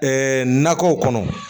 nakɔw kɔnɔ